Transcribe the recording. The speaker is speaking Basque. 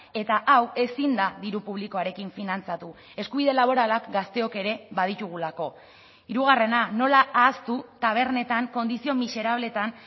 eta hau ezin da diru publikoarekin finantzatu eskubide laboralak gazteok ere baditugulako hirugarrena nola ahaztu tabernetan kondizio miserableetan